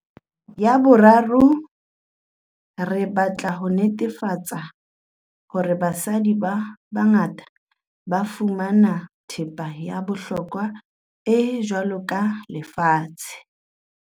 Ya boraro, re batla ho netefa-tsa hore basadi ba bangata ba fumana thepa ya bohlokwa e jwalo ka lefatshe.